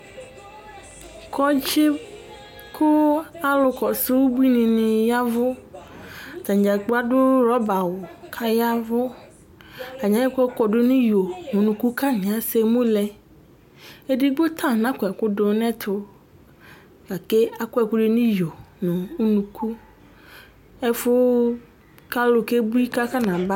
Kɔdzi ku alu kɔsu ubuinini ya ɛvu Atanidzagblo adu rɔba awu ku aya ɛvu Atani ayɔ ɛku kɔdu nu iyo nu unuku ku atani ese emu lɛ Edigbo ta nakɔ ɛkudu nu ɛtu Gake akɔ ɛku du nu iyo nu unuku Ɛfu ku alu kebui ku akɔnaba